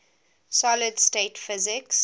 solid state physics